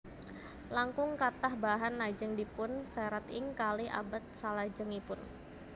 Langkung kathah bahan lajeng dipun serat ing kalih abad salajengipun